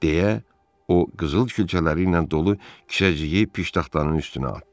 Deyə o qızıl külçələri ilə dolu kişəcəyi piştaxtanın üstünə atdı.